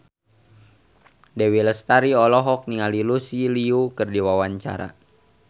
Dewi Lestari olohok ningali Lucy Liu keur diwawancara